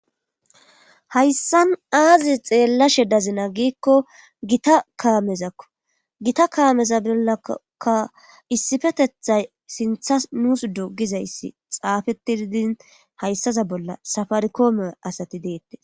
Hayssan aazi xeellashe dazina giikko gita kaamezakko gita kaameza bollaka issifetethay sintha nuus dugizayssi xaafetididin hayssaza bolla safarikoome asati deette.